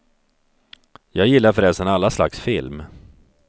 Jag gillar förresten alla slags film.